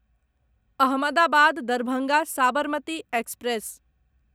Ahmedabad Darbhanga Sabarmati express